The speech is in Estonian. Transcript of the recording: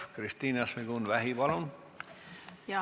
Kristina Šmigun-Vähi, palun!